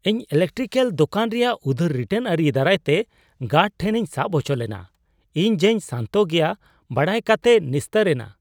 ᱤᱧ ᱤᱞᱮᱠᱴᱤᱠᱮᱹᱞ ᱫᱳᱠᱟᱱ ᱨᱮᱭᱟᱜ ᱩᱫᱟᱹᱨ ᱨᱤᱴᱟᱨᱱ ᱟᱹᱨᱤ ᱫᱟᱨᱟᱭᱛᱮ ᱜᱟᱨᱰ ᱴᱷᱮᱱᱤᱧ ᱥᱟᱵ ᱦᱚᱪᱚ ᱞᱮᱱᱟ ; ᱤᱧ ᱡᱮᱧ ᱥᱟᱱᱛᱚ ᱜᱮᱭᱟ ᱵᱟᱲᱟᱭ ᱠᱟᱛᱮᱭ ᱱᱤᱥᱛᱟᱹᱨ ᱮᱱᱟ ᱾